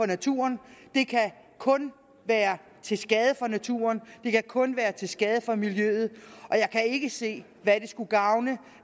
naturen det kan kun være til skade for naturen det kan kun være til skade for miljøet og jeg kan ikke se hvad det skulle gavne